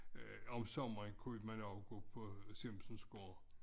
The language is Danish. Øh om sommeren kunne man også gå på Siemnsen gård